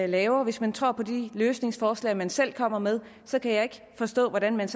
laver hvis man tror på de løsningsforslag man selv kommer med så kan jeg ikke forstå hvordan man